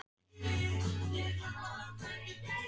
Smára hrópa þegar hann var kominn alveg upp að þeim.